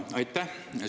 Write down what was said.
Aitäh!